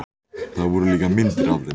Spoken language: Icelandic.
Það voru líka myndir af þeim.